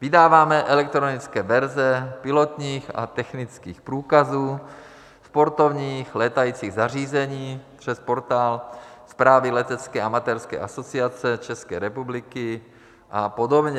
Vydáváme elektronické verze pilotních a technických průkazů, sportovních létajících zařízení přes portál zprávy Letecké amatérské asociace České republiky a podobně.